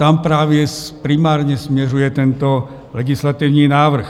Tam právě primárně směřuje tento legislativní návrh.